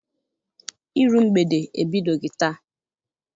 Iru mgbede ebidoghị taa.